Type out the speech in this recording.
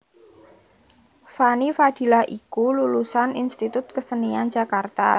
Fanny Fadillah iku lulusan Institut Kesenian Jakarta